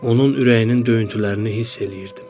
Onun ürəyinin döyüntülərini hiss eləyirdim.